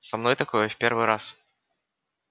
со мной такое в первый раз